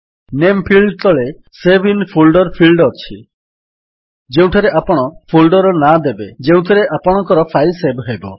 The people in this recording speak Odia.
ନାମେ ଫିଲ୍ଡ ତଳେ ସେଭ୍ ଆଇଏନ ଫୋଲ୍ଡର ଫିଲ୍ଡ ଅଛି ଯେଉଁଠାରେ ଆପଣ ଫୋଲ୍ଡର୍ ନାଁ ଦେବେ ଯେଉଁଥିରେ ଆପଣଙ୍କର ଫାଇଲ୍ ସେଭ୍ ହେବ